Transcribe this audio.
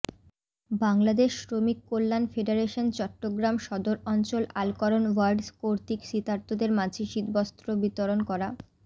বাংলাদেশ শ্রমিক কল্যাণ ফেডারেশন চট্টগ্রাম সদর অঞ্চল আলকরন ওয়ার্ড কর্তৃক শীতার্তদের মাঝে শীতবস্ত্র বিতরণ করা